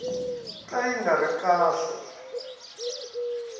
ka yi nga ri kahle